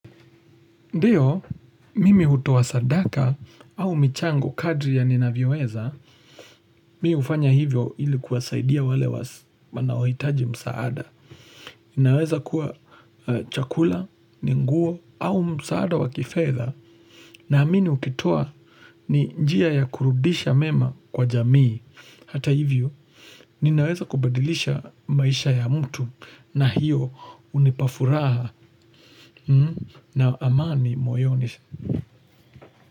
Ndio, mimi hutoa sadaka au michango kadri ya ninavyoweza, mimi hufanya hivyo ili kuwasaidia wale wanaohitaji msaada. Inaweza kuwa chakula, ni nguo au msaada wa kifedha naamini ukitoa ni njia ya kurudisha mema kwa jamii. Hata hivyo, ninaweza kubadilisha maisha ya mtu na hiyo hunipa furaha na amani moyoni.